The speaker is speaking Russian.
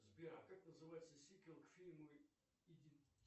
сбер а как называется сиквел к фильму